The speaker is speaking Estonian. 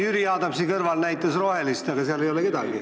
Jüri Adamsi kõrval näitas rohelist, aga seal ei ole kedagi.